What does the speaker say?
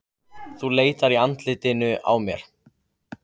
Þú leitar í andlitinu á mér.